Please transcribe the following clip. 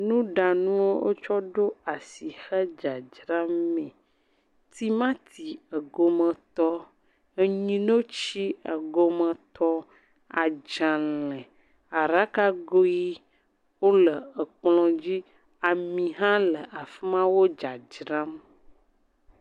Nuɖanuwo wotsɔ ɖo asi hedzdzram. Timati ɖgometɔ, enyinotsi egometɔ, adzale, aɖakago ʋi wo le ekplɔ dzi, ami hã le afi ma wo dzadzram.